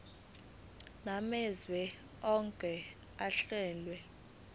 namazwe owake wahlala